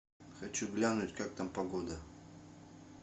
хочу глянуть как там погода